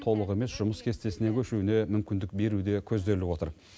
толық емес жұмыс кестесіне көшуіне мүмкіндік беру де көзделіп отыр